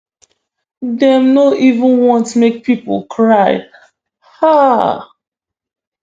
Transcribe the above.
dem no even want make pipo cry um